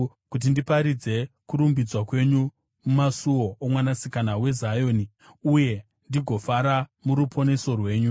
kuti ndiparidze kurumbidzwa kwenyu mumasuo oMwanasikana weZioni, uye ndigofara muruponeso rwenyu.